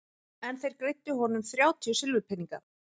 En þeir greiddu honum þrjátíu silfurpeninga.